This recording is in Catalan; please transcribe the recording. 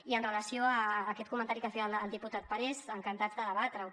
i amb relació a aquest comentari que feia el diputat parés encantats de debatre ho